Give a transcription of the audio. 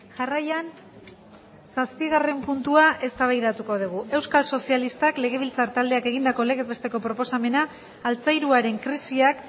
jarraian zazpigarren puntua eztabaidatuko dugu euskal sozialistak legebiltzar taldeak egindako legez besteko proposamena altzairuaren krisiak